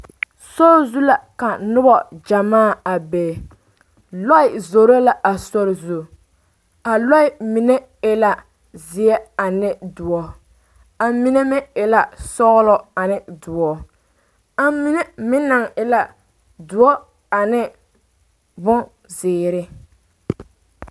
Sori zu la ka noba gyɛmaa a be lɔɛ zoro la a sori zu a lɔɛ mine e la zeɛ ane doɔ a mine meŋ e la sɔglɔ ane doɔ a mine meŋ naŋ e la doɔ ane bonzeere.